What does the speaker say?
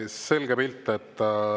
Selge pilt.